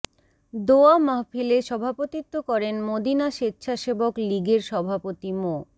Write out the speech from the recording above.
দোয়া মাহফিলে সভাপতিত্ব করেন মদিনা স্বেচ্ছাসেবক লীগের সভাপতি মো